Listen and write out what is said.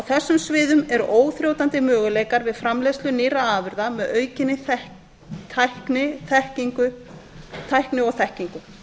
þessum sviðum eru óþrjótandi möguleikar við framleiðslu nýrra afurða með aukinni tækni og þekkingu